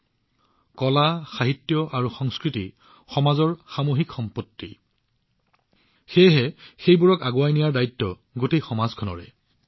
যিদৰে কলা সাহিত্য আৰু সংস্কৃতি সমাজৰ সামূহিক মূলধন ঠিক তেনেদৰে এইসমূহক আগুৱাই নিয়াটোও সমগ্ৰ সমাজৰ দায়িত্ব